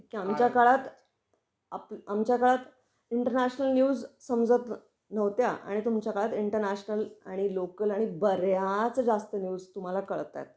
की आमच्या काळात, आमच्या काळात इंटरनॅशनल न्यूज समजत नव्हत्या आणि तुमच्या काळात इंटरनॅशनल आणि लोकल आणि बऱ्याच जास्त न्यूज तुम्हाला कळता आहेत.